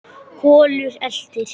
Kolur eltir.